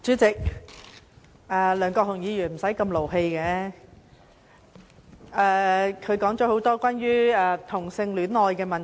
主席，梁國雄議員無須動氣，他說了很多關於同性戀愛的問題。